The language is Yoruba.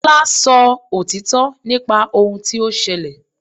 Tọ́lá sọ òtítọ́ nípa ohun tí ó ṣẹlẹ̀.